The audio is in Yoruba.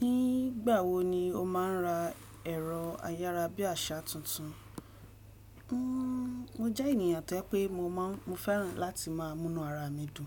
Nígbà wo ni o má a n ra ẹ̀rọ ayára bí àṣá tuntun? Mo jẹ́ ènìyàn tó pé mo máa ń, mo fẹ́ràn láti má a múnú ara mi dùn.